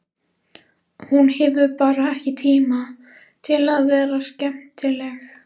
Hún hefur bara ekki tíma til að vera skemmtileg.